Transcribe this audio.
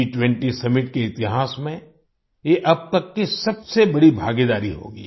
G20 summit के इतिहास में ये अब तक की सबसे बड़ी भागीदारी होगी